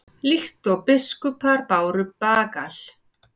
líkt og biskupar báru bagal